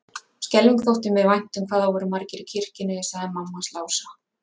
Skelfing þótti mér vænt um hvað það voru margir í kirkjunni, sagði mamma hans Lása.